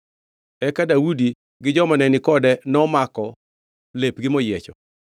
Eka Daudi gi joma nenikode nomako lepgi moyiecho.